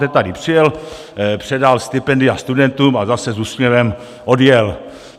Teď tady přijel, předal stipendia studentům a zase s úsměvem odjel.